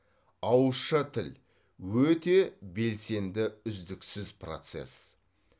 ауызша тіл өте белсенді үздіксіз процесс